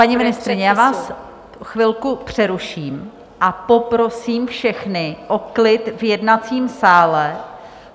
Paní ministryně, já vás chvilku přeruším a poprosím všechny o klid v jednacím sále.